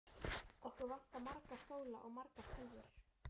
Okkur vantar marga stóla og margar tölvur.